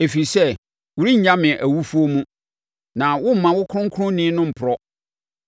ɛfiri sɛ, worennya me awufoɔ mu. Na woremma wo Kronkronni no mporɔ.